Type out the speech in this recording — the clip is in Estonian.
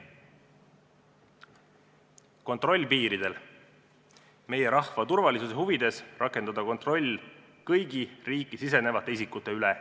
Kontroll piiridel – meie rahva turvalisuse huvides tuleb rakendada kontrolli kõigi riiki sisenevate isikute üle.